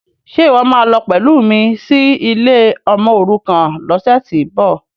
Ṣe ìwọ́ máa lọ pẹ̀lú mi sí ilé ọmọòrukàn lọ́sẹ̀tíbọ̀?